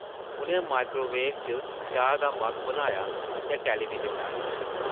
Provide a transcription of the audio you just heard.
उʼनें माइक्रोवेव च चाह् दा मग्घ बनाया ते टैलीविज़न लाया ।